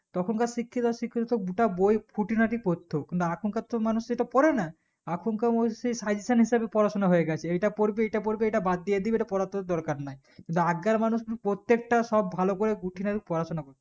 তখন কার শিক্ষিত শিক্ষিত তো গোটা বই খুঁটিনাটি পড়তো কিন্তু এখন কার তো মানুষ সেটা পরে না এলখন কার মানুষ সেই suggestion হিসাবে পড়াশোনা হয়ে গেছে এইটা পর্বে ইটা পর্বে ইটা বাদ দিয়েদেবে ইটা পড়ার তোর দরকারনাই কিন্তু আগ কার মানুষ কিন্তু প্রত্যেকটা সব ভালো করে খুঁটিনাটি পড়াশোনা করছে